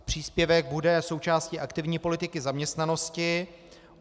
Příspěvek bude součástí aktivní politiky zaměstnanosti.